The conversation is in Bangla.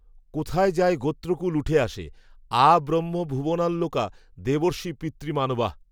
কোথায় যায় গোত্রকূল উঠে আসে, আব্রহ্মভুবনাল্লোকা, দেবর্ষি পিতৃমানবাঃ